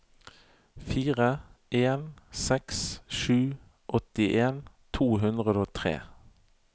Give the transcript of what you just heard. fire en seks sju åttien to hundre og tre